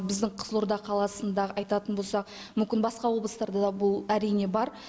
біздің қызылорда қаласында айтатын болсақ мүмкін басқа облыстарда да бұл әрине бар